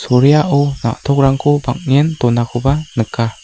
soraiao na·tokrangko bang·en donakoba nika.